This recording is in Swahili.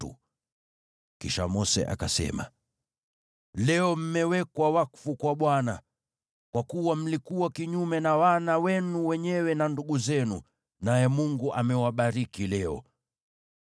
Kisha Mose akasema, “Leo mmewekwa wakfu kwa Bwana , kwa kuwa mlikuwa kinyume na wana wenu wenyewe na ndugu zenu, naye Mungu amewabariki leo.”